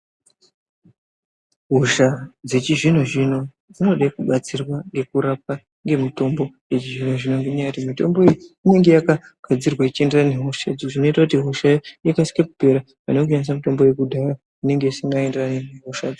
Hosha dzechizvino zvino dzinode kubatsirwa kurapwa ngemitombo izvo mitombo iyi inenge yakagadzirwa ichienderana nehosha izvi zvinoita hoshayo ikasire kupera pane kushandisa mitombo yekudhaya inenge isingaenderani nehosha.